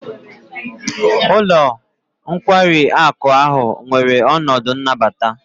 Ụlọ nkwari akụ ahụ nwere ọnọdụ nnabata.